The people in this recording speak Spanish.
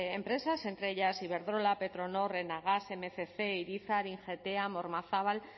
empresas entre ellas iberdrola petronor enagas mil doscientos irizar ingeteam ormazabal